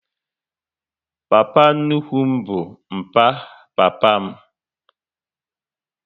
Papa nnukwu m bụ mpa papa m